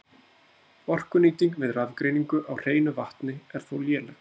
Orkunýting við rafgreiningu á hreinu vatni er þó léleg.